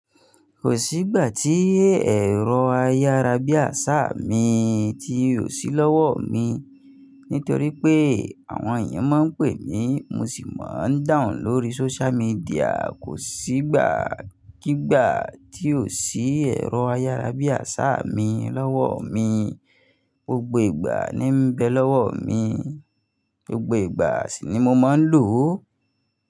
Kò sí ìgbà tí ẹ̀rọ ayárabíàsá mi ti ò sí lọ́wọ́ mi, nítorí pé àwọn ènìyàn máa ń pè mí, mo sì máa ń dahun lórí social media. Kò sí ìgbà kígbà tí ò sí ẹ̀rọ ayárabíàsá mi lọ́wọ́ mi. Gbogbo ìgbà ni ń bẹ lọ́wọ́ mi, gbogbo ìgbà sì ni mo máa ń lò ó.